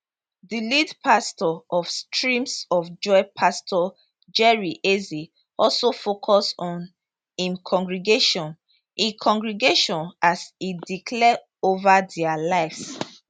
di lead pastor of streams of joy pastor jerry eze also focus on im congregation im congregation as e declare over dia lives